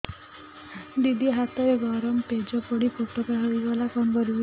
ଦିଦି ହାତରେ ଗରମ ପେଜ ପଡି ଫୋଟକା ହୋଇଗଲା କଣ କରିବି